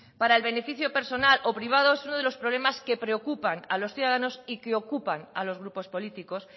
para el beneficio personal o privado es uno de los problemas que preocupan a los ciudadanos y que ocupan a los grupos políticos